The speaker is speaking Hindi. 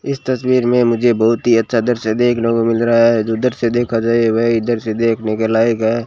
इस तस्वीर में मुझे बहुत ही अच्छा दृश्य देखने को मिल रहा है उधर से देखा जाए वह इधर से देखने के लायक है।